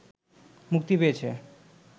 মুক্তি পেয়েছে